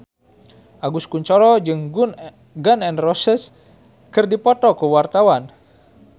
Agus Kuncoro jeung Gun N Roses keur dipoto ku wartawan